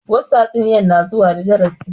Wassu tatsuniya na zuwa darasi